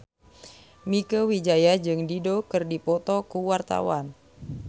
Mieke Wijaya jeung Dido keur dipoto ku wartawan